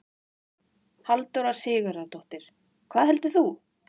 Halldóra Sigurðardóttir: Hvað heldurðu?